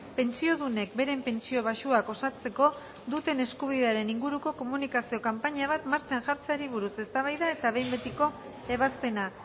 pentsiodunek beren pentsio baxuak osatzeko duten eskubidearen inguruko komunikazio kanpaina bat martxan jartzeari buruz eztabaida eta behin betiko ebazpena